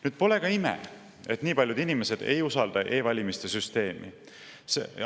Nüüd, pole ka ime, et nii paljud inimesed ei usalda e-valimiste süsteemi.